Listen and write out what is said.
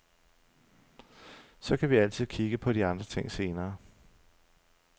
Så kan vi altid kigge på de andre ting senere.